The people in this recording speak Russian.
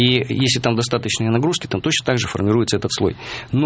если там достаточное нагрузки там точно также формируется этот слой